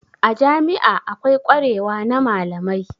A jami'a akwai kwarewa na malamai.